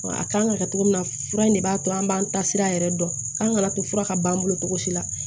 A kan ka kɛ cogo min na fura in de b'a to an b'an ta sira yɛrɛ dɔn k'an kana to fura ka ban an bolo cogo si la